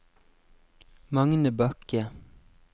Magne Bakke